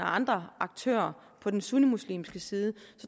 og andre aktører på den sunnimuslimske side